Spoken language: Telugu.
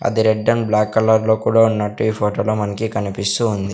అది రెడ్ అండ్ బ్లాక్ కలర్ లో కూడా ఉన్నట్టు ఈ ఫోటోలో మనకి కనిపిస్తూ ఉంది.